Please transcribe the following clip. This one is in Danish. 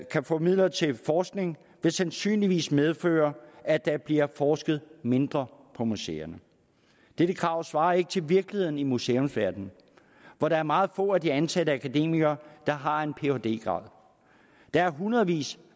kan få midler til forskning vil sandsynligvis medføre at der bliver forsket mindre på museerne dette krav svarer ikke til virkeligheden i museumsverdenen hvor der er meget få af de ansatte akademikere der har en phd grad der er hundredvis